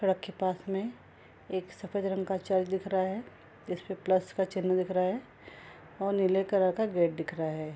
सड़क के पास में एक सफेद रंग का चर्च दिख रहा है जिसमें प्लस का चिन्ह दिख रहा है और नीले कलर का गेट दिख रहा है।